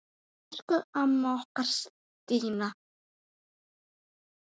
Elsku amma okkar, Stína.